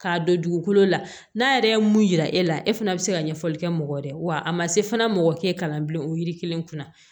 K'a don dugukolo la n'a yɛrɛ ye mun yira e la e fana bi se ka ɲɛfɔli kɛ mɔgɔ ye dɛ wa a ma se fana mɔgɔ ke kalan o yiri kelen kunna